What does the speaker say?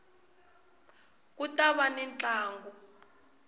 ku ta va ni ntlangu